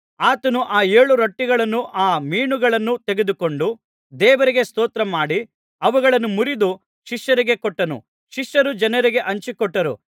ಆತನು ಆ ಏಳು ರೊಟ್ಟಿಗಳನ್ನೂ ಆ ಮೀನುಗಳನ್ನೂ ತೆಗೆದುಕೊಂಡು ದೇವರಿಗೆ ಸ್ತೋತ್ರ ಮಾಡಿ ಅವುಗಳನ್ನು ಮುರಿದು ಶಿಷ್ಯರಿಗೆ ಕೊಟ್ಟನು ಶಿಷ್ಯರು ಜನರಿಗೆ ಹಂಚಿಕೊಟ್ಟರು